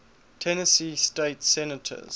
tennessee state senators